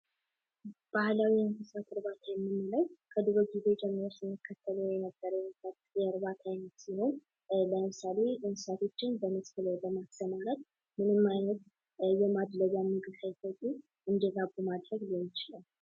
ባህላዊ የእንስሳት እርባታ የምንለው ከድሮ ጊዜ ጀምሮ ስንከተል የነበረውን የከብት እርባታ አይነት ሲሆን። ለምሳሌ እንስሳቶችን በመስክ ላይ በማሰማራት ምንም አይነት የማድለቢያ መንገድ ሳይጠቀሙ እንዲራቡ ማድረግ ሊሆን ይችላል።